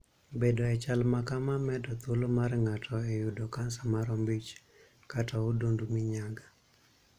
Bedo e chal ma kamaa medo thuolo mar ng'ato e yudo kansa mar ombich kata odundu minyaga.